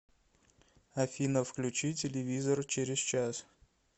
афина включи телевизор через час